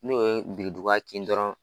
N'o ye beredugan kin dɔrɔn